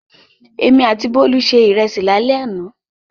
Èmi àti Bólú se ìrẹsì lálẹ́ àná.